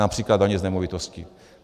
Například daně z nemovitosti.